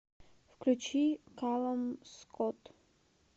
включи калум скот